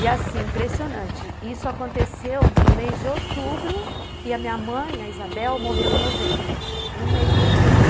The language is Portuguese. E assim, impressionante, isso aconteceu no mês de outubro e a minha mãe, a Isabel, morreu em novembro, um mês depois.